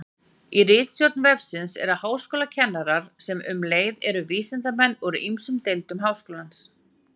í flestum tilfellum eru þessi efni einangrarar